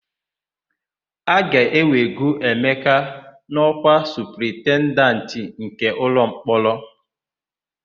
A ga-ewego Emeka n'ọ́kwa Supaintendenti nke ụlọmkpọrọ.